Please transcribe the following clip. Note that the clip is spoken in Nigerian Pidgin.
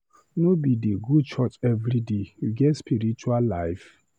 No be dey go church everyday, you get spiritual life?